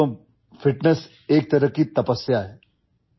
دوستو، فٹنس ایک قسم کی تپسیا ہے